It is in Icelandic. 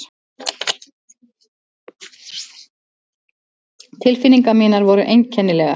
Tilfinningar mínar voru einkennilegar.